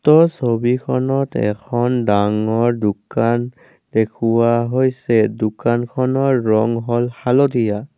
উক্ত ছবিখনত এখন ডাঙৰ দোকান দেখুওৱা হৈছে দোকানখনৰ ৰং হ'ল হালধীয়া।